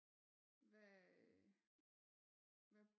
Hvad øh hvad